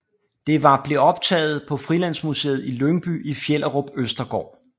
Det var blev optaget på Frilandsmuseet i Lyngby i Fjellerup Østergård